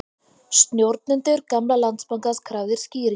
Stjórnendur gamla Landsbankans krafðir skýringa